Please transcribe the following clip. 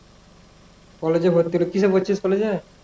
college এ ভর্তি হইলি কিসে পড়ছিস collage এ?